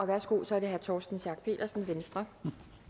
værsgo så er det herre torsten schack pedersen venstre